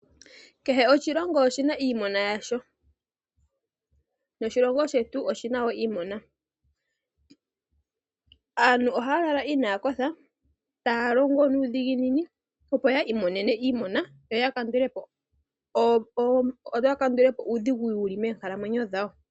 Kehe oshilongo oshina iimona yasho. Noshilonga shetu oshina wo iimona. Aantu ohaya lala inaya kotha, taya longo nuudhiginini opo ya imonene iimona, yo ya kandulepo uudhigu wuli moonkalamwenyo dhawo.